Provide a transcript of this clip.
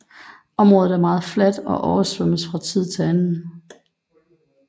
Området er meget fladt og oversvømmes fra tid til anden